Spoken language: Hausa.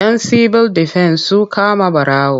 Yan sibil defen su kama ɓarawo.